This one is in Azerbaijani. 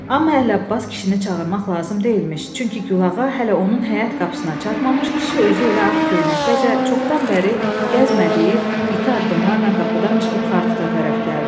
Amma Ələbbas kişini çağırmaq lazım deyilmiş, çünki Gülağa hələ onun həyət qapısına çatmamış kişi özü elə ağ köynəkdəcə çoxdan bəri gəzmədiyi iti addımlarla qapıdan çıxıb xar tuta tərəf gəldi.